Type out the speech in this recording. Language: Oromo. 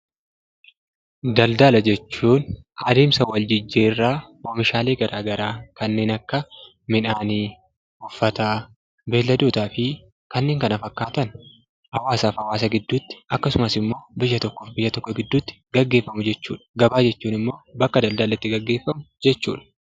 Daldala jechuun adeemsa wal jijjiirraa oomishaalee gara garaa kanneen akka: midhaan, uffata, beeyladootaa fi kanneen kana fakkaatan hawaasaa fi hawaasa gidduutti yookiin biyyaa fi biyya gidduutti gaggeeffamu jechuudha. Gabaa jechuun immoo bakka daldalli itti gaggeeffamu jechuudha.